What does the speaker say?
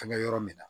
Fɛnkɛ yɔrɔ min na